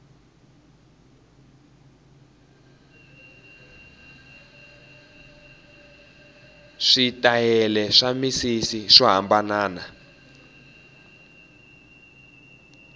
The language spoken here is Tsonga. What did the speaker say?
switayele swa misisi swo hambanana